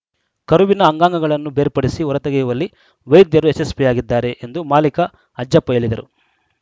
ಕರುವಿನ ಅಂಗಾಂಗಗಳನ್ನು ಬೇರ್ಪಡಿಸಿ ಹೊರತೆಗೆಯುವಲ್ಲಿ ವೈದ್ಯರು ಯಶಸ್ವಿಯಾಗಿದ್ದಾರೆ ಎಂದು ಮಾಲೀಕ ಅಜ್ಜಪ್ಪ ಹೇಳಿದರು